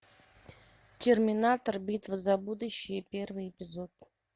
терминатор битва за будущее первый эпизод